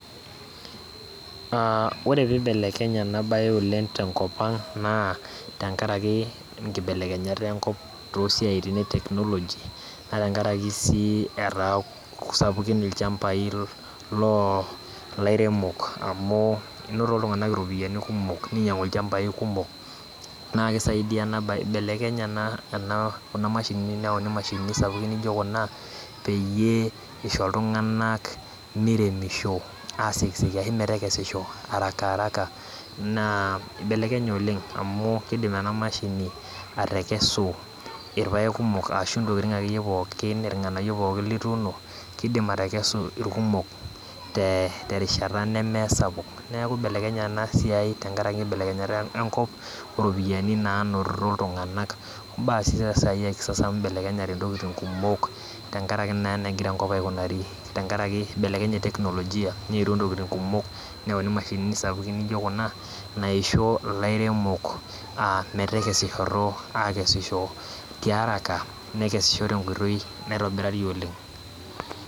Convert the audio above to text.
Aa ore peibelekenye enabae tenkop aang na tenkaraki nkibelekenyat enkop tosiatin e technology natengaraki si etaa sapukin lchambai lolairemok amu inoto ltunganak ropiyani kumok ninyangu lchambai nakisaidia enabae, ibelekenye neyauni mashinini sapukin nijo kuna peyie Isho ltunganak meteremisho ashu metekesisho harakaharaka na ibelekenye oleng amu kidim enamashini atekesi irpaek kumok ashu irnganayio pookin litaasa kidim atekesu rkumok neaku ibelekenye enasiai tenkaraki nkibelekenyat enkop orpiyani nainoto ltunganak, amu ibelekenyate ntokitin kumok tenkaraki na enegira enkop aikunari tenkaraki ibelekenye ntokitin kumok neyauni mashinini sapukin naijo kuna naisho lairemok metekesishoto akesisho tearaka nekesisho tenkoitoi naitobirari oleng.